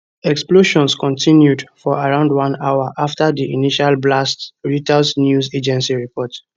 explosions continued for around one hour after di initial blasts reuters news agency report